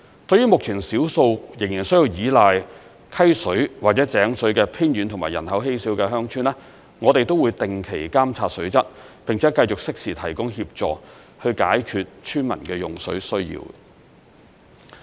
對於目前少數仍需依賴溪水或井水的偏遠及人口稀少的鄉村，我們也會定期監察水質，並且繼續適時提供協助，以解決村民的用水需要。